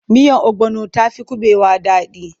Miyar obono ta fi kuɓewa daɗi.